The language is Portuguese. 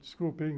Desculpem.